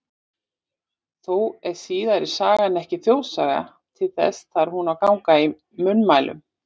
Þó er síðari sagan ekki þjóðsaga, til þess þarf hún að ganga í munnmælum.